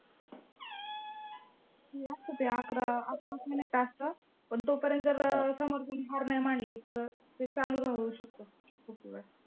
ते असतं ते अकरा अकाराचं minute असतं पण तोपर्यंत जर समोरच्यानीं हार नाही मानली तर ते चालू राहू शकतं खूप वेळ.